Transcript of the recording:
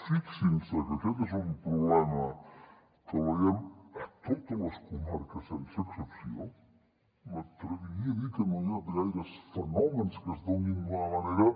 fixin se que aquest és un problema que el veiem a totes les comarques sense excepció m’atreviria a dir que no hi ha gaires fenòmens que es donin d’una manera